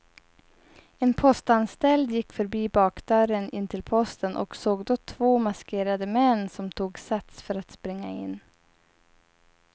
En postanställd gick förbi bakdörren in till posten och såg då två maskerade män som tog sats för att springa in.